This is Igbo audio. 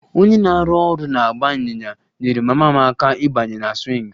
Onye na-arụ ọrụ na-agba ịnyịnya nyeere mama m aka ịbanye na swing